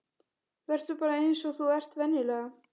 Vertu bara eins og þú ert venjulega.